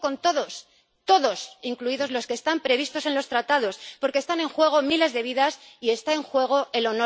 Y digo con todos, todos, incluidos los que están previstos en los Tratados, porque están en juego miles de vidas y está en juego el